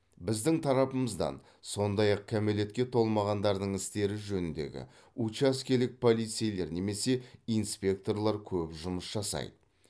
біздің тарапымыздан сондай ақ кәмелетке толмағандардың істері жөніндегі учаскелік полицейлер немесе инспекторлар көп жұмыс жасайды